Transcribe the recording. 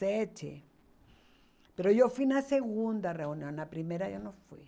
Sete eu fui na segunda reunião, na primeira eu não fui.